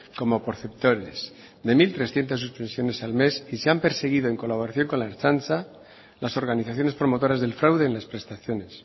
como perceptores de mil trescientos suspensiones al mes y se han perseguido en colaboración con la ertzaintza las organizaciones promotoras del fraude en las prestaciones